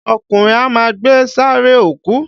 Ọkùnrin á ma gbẹ́ sààréè òkú.